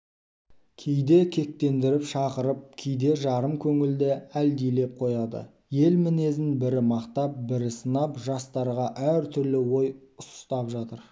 кейде кектендіріп шақырып кейде жарым көңілді әлдилеп қояды ел мінезін бірі мақтап бірі сынап жастарға әр түрлі ой ұстап жатыр